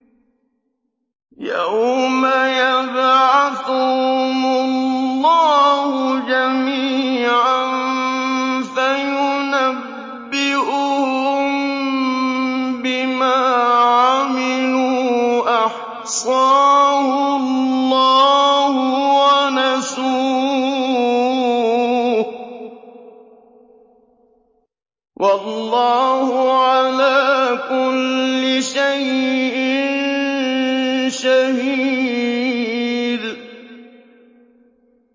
يَوْمَ يَبْعَثُهُمُ اللَّهُ جَمِيعًا فَيُنَبِّئُهُم بِمَا عَمِلُوا ۚ أَحْصَاهُ اللَّهُ وَنَسُوهُ ۚ وَاللَّهُ عَلَىٰ كُلِّ شَيْءٍ شَهِيدٌ